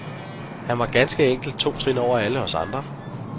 Han var ganske enkelt to trin over alle os andre.